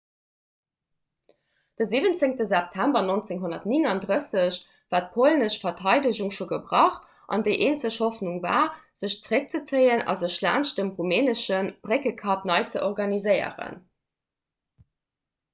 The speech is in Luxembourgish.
de 17 september 1939 war d'polnesch verteidegung scho gebrach an déi eenzeg hoffnung war sech zeréckzezéien a sech laanscht dem rumänesche bréckekapp nei ze organiséieren